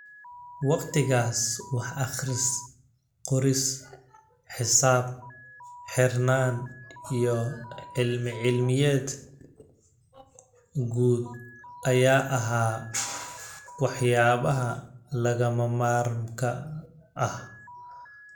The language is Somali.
Waqtigaas, wax-akhris-qoris, xisaab-xirnaan iyo cilmi-cilmiyeed guud ayaa ahaa waxyaabaha lagama maarmaanka ah.